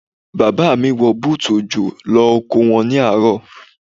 Bàbá mi wọ bútù òjò lọ oko wọn ní àárọ̀.